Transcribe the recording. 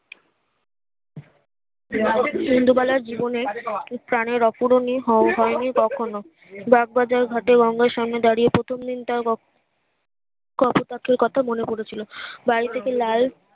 রাতের ট্রেন ইন্দুবালার জীবনে তার এই অপরিনিও হয়নি তখনো বাগবাজার ঘাটে গঙ্গার সামনে দাঁড়িয়ে প্রথম দিন তার কাকু কাকীর কথা মনে পড়েছিল বাড়ি থেকে লাল